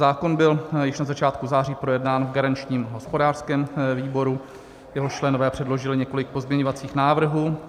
Zákon byl již na začátku září projednán v garančním hospodářském výboru, jehož členové předložili několik pozměňovacích návrhů.